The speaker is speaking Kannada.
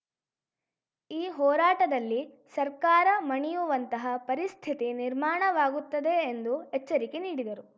ಈ ಹೋರಾಟದಲ್ಲಿ ಸರ್ಕಾರ ಮಣಿಯುವಂತಹ ಪರಿಸ್ಥಿತಿ ನಿರ್ಮಾಣವಾಗುತ್ತದೆ ಎಂದು ಎಚ್ಚರಿಕೆ ನೀಡಿದರು